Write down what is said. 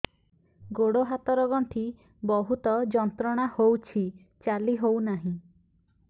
ଗୋଡ଼ ହାତ ର ଗଣ୍ଠି ବହୁତ ଯନ୍ତ୍ରଣା ହଉଛି ଚାଲି ହଉନାହିଁ